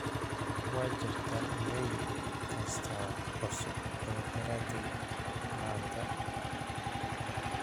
wajirtaa iimayl kasta cusub oo daraadey maanta